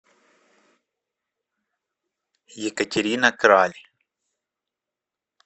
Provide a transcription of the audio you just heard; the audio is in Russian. екатерина краль